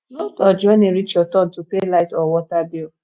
no dodge when e reach your turn to pay light or water bill